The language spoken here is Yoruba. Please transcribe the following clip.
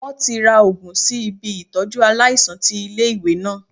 Wọ́n ti ra Ògùn sí ibi Ìtọ́jú aláìsàn ti ilé ìwé náà.